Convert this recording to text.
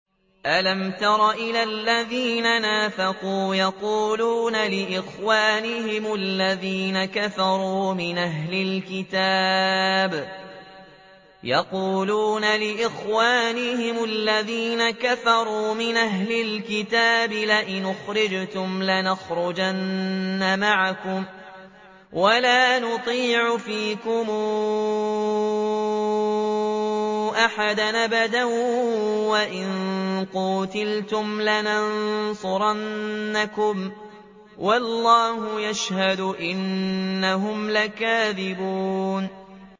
۞ أَلَمْ تَرَ إِلَى الَّذِينَ نَافَقُوا يَقُولُونَ لِإِخْوَانِهِمُ الَّذِينَ كَفَرُوا مِنْ أَهْلِ الْكِتَابِ لَئِنْ أُخْرِجْتُمْ لَنَخْرُجَنَّ مَعَكُمْ وَلَا نُطِيعُ فِيكُمْ أَحَدًا أَبَدًا وَإِن قُوتِلْتُمْ لَنَنصُرَنَّكُمْ وَاللَّهُ يَشْهَدُ إِنَّهُمْ لَكَاذِبُونَ